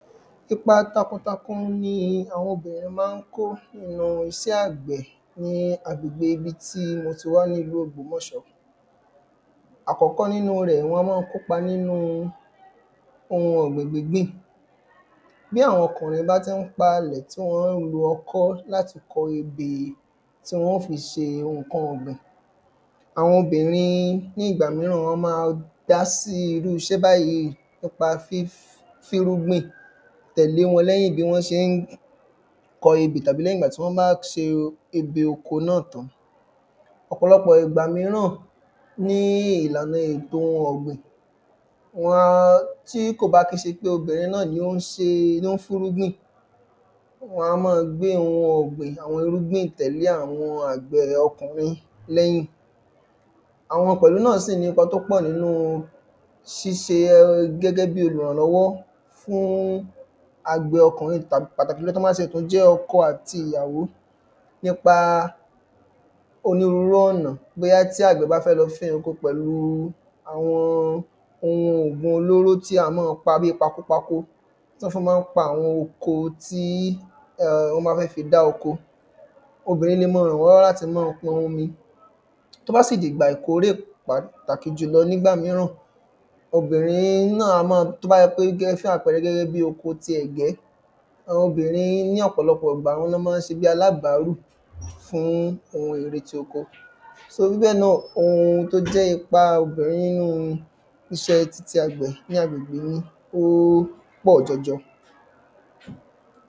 Ipa tákuntákun ni àwọn obìnrin máa ń kó nínú iṣẹ́ àgbẹ̀ ni àgbẹ̀gbe ibi tí mo ti wá ní ìlú ògbómọ̀ṣó Àkọ́kọ́ nínú rẹ̀ wọ́n a máa kópa nínu oun ọ̀gbìn gbígbìn Bí àwọn ọkùnrin bá ti ń pa ilẹ̀ tí wọ́n ń lò ọkọ́ láti kọ ebè tí wọ́n óò fi ṣe nǹkan ọ̀gbìn àwọn obìnrin ní ìgbà mìíràn wọ́n ma dá sí irú iṣẹ́ báyì nípa fífín irúgbìn tẹ̀lé wọn lẹ́yìn bí wọ́n ṣe ń kọ ebè tàbí lẹ́yìn ìgbà tí wọ́n bá ṣe ebè oko náà tán Ọ̀pọ̀lọpò ìgbà mìíràn ni ìlànà ètò ọ̀gbìn wọ́n á tí kò bá kí ń ṣe pé obìnrin náà ni o ń ṣe fín ìrúgbìn wọ́n á máa gbé oun ọ̀gbìn àwọn irúgbìn tẹ̀lé àwọn àgbẹ̀ ọkùnrin lẹ́yìn Àwọn pẹ̀lú náà sì ní ipa tí ó pọ̀ nínú ṣíṣe gẹ́gẹ́ bíi olùrànlọ́wọ́ fún àgbẹ̀ ọkùnrin tàbí pàtàkì jùlọ tí wọ́n bá tiẹ̀ tún jẹ́ ọkọ àti ìyàwó Nípa onírúurú ọ̀nà Bóya tí àgbẹ̀ bá fẹ́ lọ fẹ́ oko pẹ̀lú àwọn oun ògùn olóró tí a máa pa bíi pakopako tí wọ́n fi máa ń pa àwọn oko tí wọ́n bá fẹ́ fi dá oko obìnrin lè máa rànwọ́nlọ́wọ́ láti máa pọn omi Tí ó bá sì di ìgbà ìkórè pàtàkì jùlọ ní ìgbà mìíràn obìnrin náà a máa tí ó bá jẹ́ pé gẹ́ fún àpẹẹrẹ gẹ́gẹ́ bí oko ti ẹ̀gẹ́ Àwọn obìnrin ni ọ̀pọ̀lọpò ìgbà àwọn ni wọ́n máa ń ṣe bíi alábàárù fún oun èrè ti oko So bíbẹ́ẹ̀ náà oun tí ó jẹ́ ipa obìnrin nínú iṣẹ́ ti àgbẹ̀ ní àgbẹ̀gbe mi ó pọ̀ jọjọ